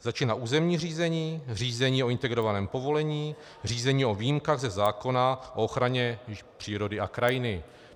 Začíná územní řízení, řízení o integrovaném povolení, řízení o výjimkách ze zákona o ochraně přírody a krajiny.